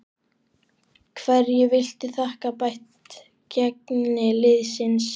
Hverju viltu þakka bætt gengi liðsins?